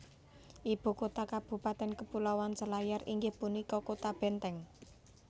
Ibu kota kabupatèn Kepulauan Selayar inggih punika Kota Benteng